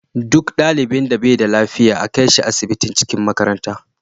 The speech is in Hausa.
Duk ɗalibin da bashi da lafiya a kaishi asibitin cikin makaranta